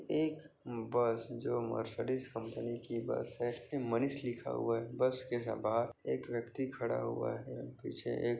एक बस जो Mercedes company की बस है मनीष लिखा हुआ है बस के सा बाहर एक व्यक्ति खड़ा हुआ हैअ पीछे एक--